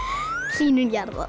hlýnun jarðar